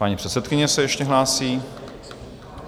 Paní předsedkyně se ještě hlásí.